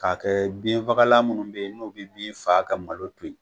K'a kɛ binfagalan minnu bɛ yen, n'o bɛ bin faga ka malo to yen.